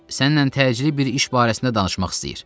Səninlə təcili bir iş barəsində danışmaq istəyir.